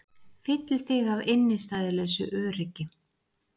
Fylli þig af innistæðulausu öryggi.